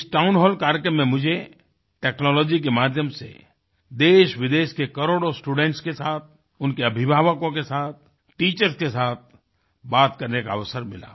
इस town hall कार्यक्रम में मुझे टेक्नोलॉजी के माध्यम से देशविदेश के करोड़ों स्टूडेंट्स के साथ उनके अभिभावकों के साथ टीचर्स के साथ बात करने का अवसर मिला